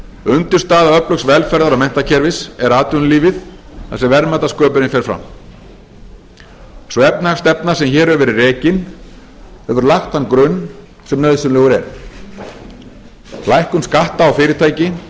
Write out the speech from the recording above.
undirstaða öflugs velferðar og menntakerfis er atvinnulífið þar sem verðmætasköpunin fer fram sú efnahagsstefna sem hér hefur verið rekin hefur lagt þann grunn sem nauðsynlegur er lækkun skatta á fyrirtæki